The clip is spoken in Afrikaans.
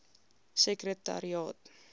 sekretariaat